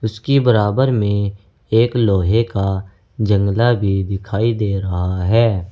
उसकी बराबर में एक लोहे का जंगला भी दिखाई दे रहा है।